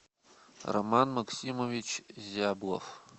роман максимович зяблов